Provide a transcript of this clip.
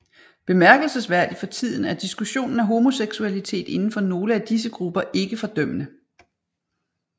Bemærkelsesværdig for tiden er diskussionen af homoseksualitet indenfor nogle af disse grupper ikke fordømmende